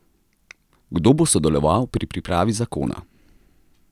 Kdo bo sodeloval pri pripravi zakona?